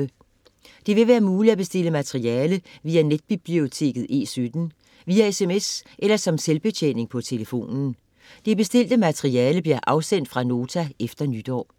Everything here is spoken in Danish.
Det vil være muligt at bestille materiale via netbiblioteket E17, via sms eller som selvbetjening på telefonen. Det bestilte materiale bliver afsendt fra Nota efter nytår.